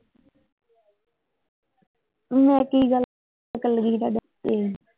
ਮੈਂ ਕੀ ਗੱਲ ਕਰਨ ਲੱਗੀ ਸੀ ਤੁਹਾਡਾ?